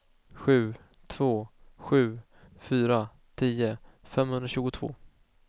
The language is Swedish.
sju två sju fyra tio femhundratjugotvå